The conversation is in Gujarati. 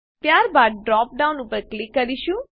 ત્યારબાદ ડ્રોપડાઉન ઉપર ક્લિક કરીશું